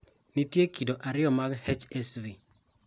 Nitie kido ariyo mag HSV